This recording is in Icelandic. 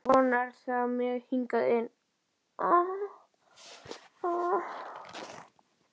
Að von er á þér hingað inn.